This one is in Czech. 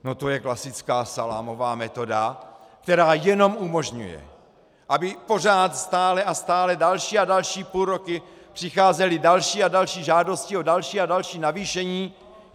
No to je klasická salámová metoda, která jenom umožňuje, aby pořád, stále a stále další a další půlroky přicházely další a další žádosti o další a další navýšení.